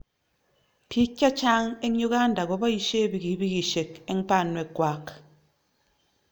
Piik che chang' eng' Uganda kopisye pikipikisyek eng' panwek kwak.